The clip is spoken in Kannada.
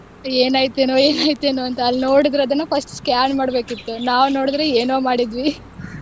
ಏನಾಯ್ತು ಏನೋ ಏನಾಯ್ತು ಏನು ಅಂತ ಅಲ್ಲಿ ನೋಡಿದ್ರೆ ಅದನ್ನ first scan ಮಾಡ್ಬೇಕಿತ್ತು ನಾವ್ ನೋಡಿದ್ರೆ ಏನೋ ಮಾಡಿದ್ವಿ .